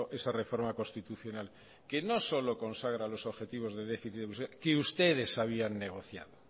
esa reforma constitucional que no solo consagra los objetivos de déficit que ustedes habían negociado